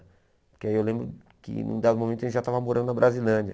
Porque aí eu lembro que, num dado momento, a gente já estava morando na Brasilândia.